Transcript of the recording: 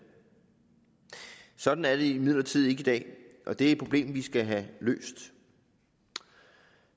sådan er det imidlertid ikke i dag og det er et problem vi skal have løst